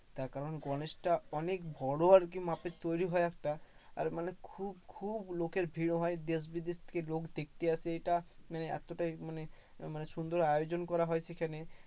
তার কারণ গণেশটা অনেক বড়ো আরকি মাপের তৈরি হয় একটা, আর মানে খুব খুব লোকের ভিড় হয়, দেশ বিদেশ থেকে লোক দেখতে আসে এটা, মানে এতটাই মানে মানে সুন্দর আয়োজন করা হয়েছে এখানে।